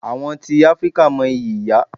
Àwọn tí Áfríkà mo ìyí ìyá.